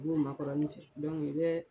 N'o bɛ makɔrɔnin fɛ i bɛ.